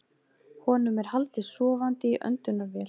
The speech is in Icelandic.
Honum er haldið sofandi í öndunarvél